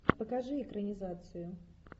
покажи экранизацию